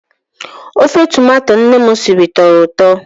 Ofe tomato nne m siri tọrọ ụtọ.